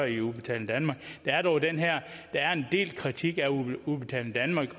i udbetaling danmark der er dog en del kritik af udbetaling danmark